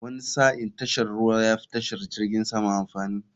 Wani sa'in tashar ruwa yafi tashar jirgin sama amfani.